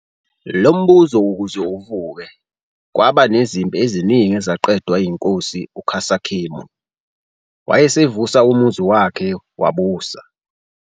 Lombuso ukuze uvuke, kwaba nezimpi eziningi ezaqedwa inkosi uKhasekhemwy, wayesevusa umuzi wakhe wabusa.